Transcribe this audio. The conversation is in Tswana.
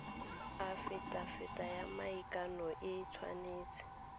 afitafiti ya maikano e tshwanetse